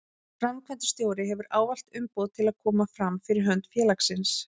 Framkvæmdastjóri hefur ávallt umboð til að koma fram fyrir hönd félagsins.